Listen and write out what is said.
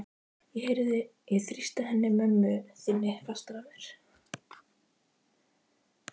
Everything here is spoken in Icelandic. Ég þrýsti henni mömmu þinni fastar að mér.